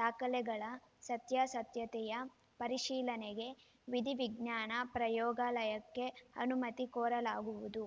ದಾಖಲೆಗಳ ಸತ್ಯಾಸತ್ಯತೆಯ ಪರಿಶೀಲನೆಗೆ ವಿಧಿವಿಜ್ಞಾನ ಪ್ರಯೋಗಾಲಯಕ್ಕೆ ಅನುಮತಿ ಕೋರಲಾಗುವುದು